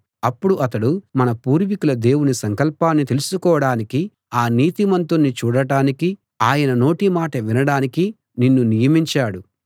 అప్పుడు అతడు మన పూర్వీకుల దేవుని సంకల్పాన్ని తెలుసుకోడానికీ ఆ నీతిమంతుణ్ణి చూడటానికీ ఆయన నోటి మాట వినడానికీ నిన్ను నియమించాడు